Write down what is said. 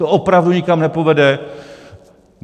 To opravdu nikam nepovede.